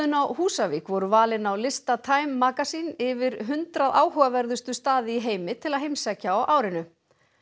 á Húsavík voru valin á lista time magazine yfir hundrað áhugaverðustu staði í heimi til að heimsækja á árinu